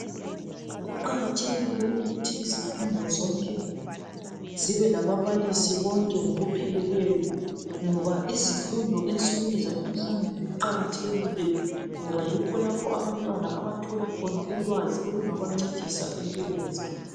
Kuqakathekile ukuthi izifundo zonke zibelababalisi bonke ngokupheleleyo. Ngoba izifundo ensukwini zalamuhlanje ziqakathekile, ngoba yikho abantwana abangathola khona ulwazi olungabancedisa empilweni zabo.